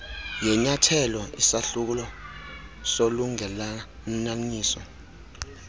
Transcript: yenyathelo isahluko solungelelaniso